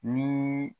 Ni